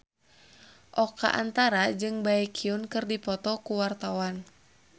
Oka Antara jeung Baekhyun keur dipoto ku wartawan